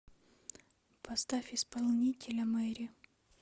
поставь исполнителя мэри